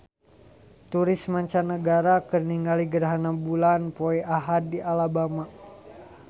Turis mancanagara keur ningali gerhana bulan poe Ahad di Alabama